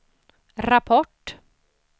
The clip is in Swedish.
rapport